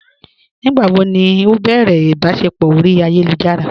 Nígbàwó ni ó bẹ̀rẹ̀ ìbàṣẹpọ̀ orí ayélujára?